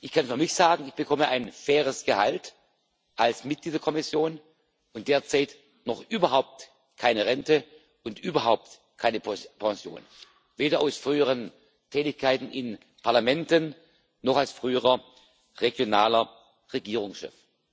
Ich kann für mich sagen, ich bekomme ein faires Gehalt als Mitglied der Kommission und derzeit noch überhaupt keine Rente und überhaupt keine Pension, weder aus früheren Tätigkeiten in Parlamenten noch als früherer regionaler Regierungschef.